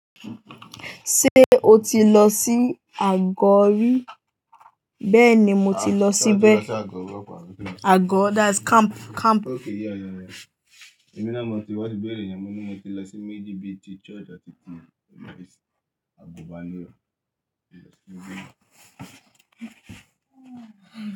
Ṣé o ti lọ sí Agori? Bẹ́ẹ̀ni, mo ti lọ sí bẹ́ẹ̀. Agọ̀ that's camp, camp. Okay, yeah, yeah, yeah. Èmi náà mo ti wá ti bẹ̀rẹ̀ ìyàmo ní mo ti lọ sí méjì bí i ti church àti ti Agu Banírọ̀.